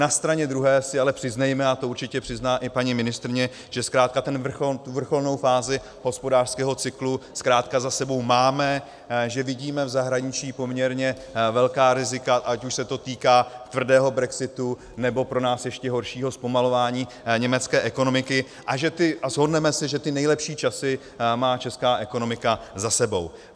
Na straně druhé si ale přiznejme, a to určitě přizná i paní ministryně, že zkrátka tu vrcholnou fázi hospodářského cyklu zkrátka za sebou máme, že vidíme v zahraničí poměrně velká rizika, ať už se to týká tvrdého brexitu, nebo pro nás ještě horšího zpomalování německé ekonomiky, a shodneme se, že ty nejlepší časy má česká ekonomika za sebou.